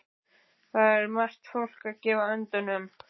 Þar er margt fólk að gefa öndunum.